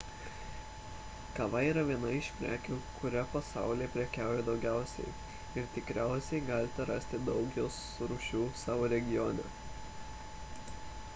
kava yra viena iš prekių kuria pasaulyje prekiaujama daugiausiai ir tikriausiai galite rasti daug jos rūšių savo regione